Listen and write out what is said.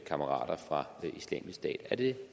kammerater fra islamisk stat er det